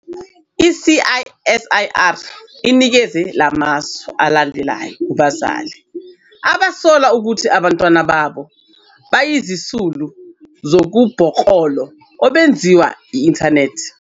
I-CSIR inikeza la masu alandelayo kubazali abasola ukuthi abantwana babo bayizisulu zobubhoklolo obenziwa nge-inthanethi.